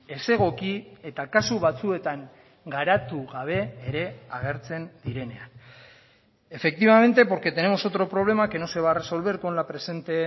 ezegoki eta kasu batzuetan garatu gabe ere agertzen direnean efectivamente porque tenemos otro problema que no se va a resolver con la presente